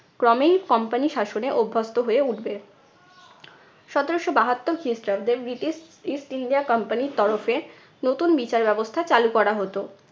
ক্রমেই comapny শাসনে অভ্যস্ত হয়ে উঠবে। সতেরশো বাহাত্তর খ্রিস্টাব্দে ব্রিটিশ east india company র তরফে নতুন বিচার ব্যবস্থা চালু করা হতো।